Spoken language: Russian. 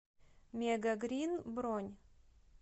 мегагринн бронь